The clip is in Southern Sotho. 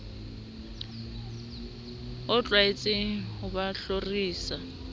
o tlwaetseng ho ba hlorisa